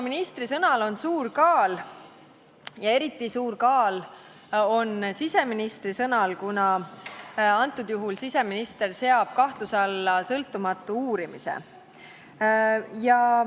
" Ministri sõnal on suur kaal ja eriti suur kaal on konkreetsel juhul siseministri sõnal, kuna ta seab kahtluse alla sõltumatu uurimise.